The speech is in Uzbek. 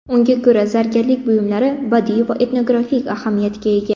Unga ko‘ra zargarlik buyumlari badiiy va etnografik ahamiyatga ega.